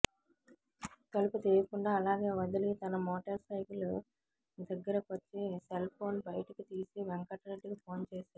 తలుపు తీయకుండా అలాగే వదిలి తన మోటార్ సైకిల్ దగ్గిరకొచ్చి సెల్ ఫోన్ బయటకి తీసి వెంకటరెడ్డికి ఫోన్ చేశాడు